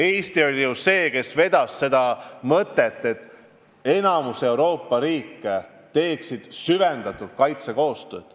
Eesti oli ju see, kes vedas mõtet, et enamik Euroopa riike teeksid süvendatult kaitsekoostööd.